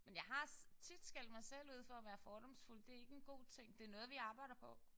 Men jeg har tit skældt mig selv ud for at være fordomsfuld. Det er ikke en god ting. Det er noget vi arbejder på